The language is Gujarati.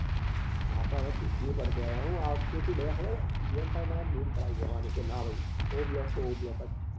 આપડે હવે શીખવી પડશે હો હવે આ વખતે શું બધા ખબર છે ગ્રામ માં બૂમ પડાવી દેવાની કે નાં ભાઈ o block તો o block જ છે